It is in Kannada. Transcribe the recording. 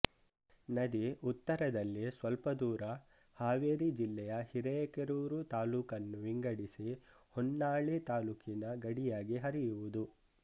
ನದಿ ಉತ್ತರದಲ್ಲಿ ಸ್ವಲ್ಪದೂರ ಹಾವೇರಿ ಜಿಲ್ಲೆಯ ಹಿರೇಕೆರೂರು ತಾಲ್ಲೂಕನ್ನು ವಿಂಗಡಿಸಿ ಹೊನ್ನಾಳಿ ತಾಲ್ಲೂಕಿನ ಗಡಿಯಾಗಿ ಹರಿಯುವುದು